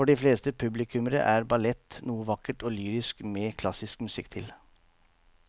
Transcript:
For de fleste publikummere er ballett noe vakkert og lyrisk med klassisk musikk til.